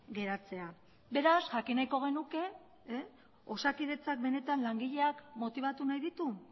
geratzea beraz jakin nahiko genuke osakidetzak benetan langileak motibatu nahi ditu